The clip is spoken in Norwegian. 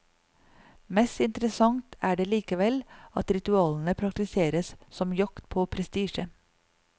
Mest interessant er det likevel at ritualene praktiseres som jakt på prestisje.